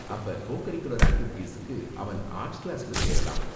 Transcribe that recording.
அப்ப co curricular ஆக்டிவிட்டிஸுக்கு அவன் ஆர்ட்ஸ் கிளாஸ்ல சேரலாம்.